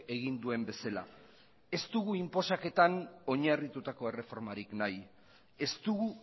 egin duen bezala ez dugu inposaketan oinarritutako erreformarik nahi ez dugu